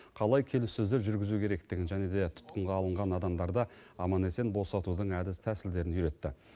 қалай келіссөздер жүргізу керектігін және де тұтқынға алынған адамдарды аман есен босатудың әдіс тәсілдерін үйретті